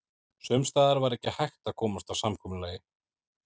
Sums staðar var ekki hægt að komast að samkomulagi.